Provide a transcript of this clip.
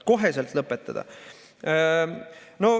Koheselt lõpetada.